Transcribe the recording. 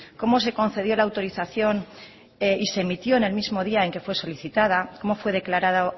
cómo se concedió la autorización y se emitió en el mismo día en que fue solicitada cómo fue declarada